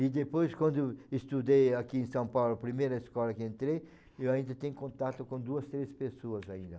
E depois quando estudei aqui em São Paulo, a primeira escola que entrei, eu ainda tenho contato com duas, três pessoas ainda.